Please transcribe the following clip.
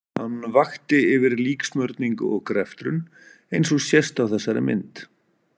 Hann vakti yfir líksmurningu og greftrun eins og sést á þessari mynd.